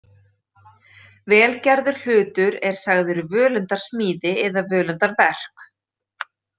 Vel gerður hlutur er sagður völundarsmíði eða völundarverk.